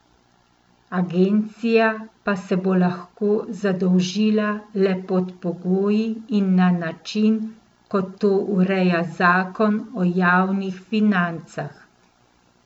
Agencija pa se bo lahko zadolžila le pod pogoji in na način, kot to ureja zakon o javnih financah.